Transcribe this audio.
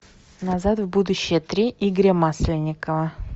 назад в будущее три игоря масленникова